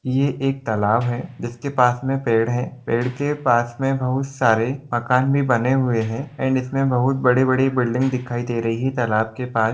ये एक तलाब हैं जिस के पास मे पेड हैं पेड के पास बहुत सारे मकान भी बने हुये हैं एंड इस मे बहुत बड़े बड़े बिल्डिंग धिकाई दे रही हैं तलाब के पास।